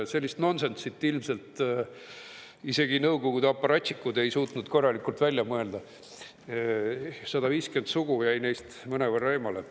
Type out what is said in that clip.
Sellist nonsenssi ilmselt isegi Nõukogude aparatšikud ei suutnud korralikult välja mõelda, 150 sugu jäi neist mõnevõrra eemale.